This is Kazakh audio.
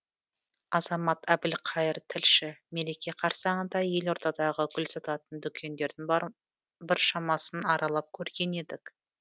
азамат әбілқайыр тілші мереке қарсаңында елордадағы гүл сататын дүкендердің біршамасын аралап көрген едік